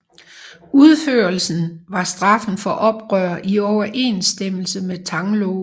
Udførelse var straffen for oprør i overensstemmelse med Tang loven